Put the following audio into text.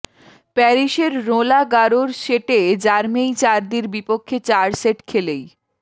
প্যারিসের রোঁলা গারোর সেটে জার্মেই চার্দির বিপক্ষে চার সেট খেলেই